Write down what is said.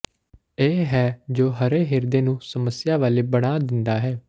ਇਹ ਹੈ ਜੋ ਹਰੇ ਹਿਰਦੇ ਨੂੰ ਸਮੱਸਿਆ ਵਾਲੇ ਬਣਾ ਦਿੰਦਾ ਹੈ